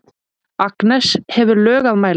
Agnes hefur lög að mæla.